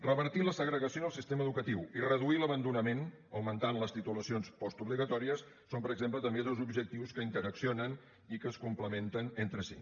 revertir la segregació en el sistema educatiu i reduir l’abandonament amb l’augment de les titulacions postobligatòries són per exemple també dos objectius que interaccionen i que es complementen entre si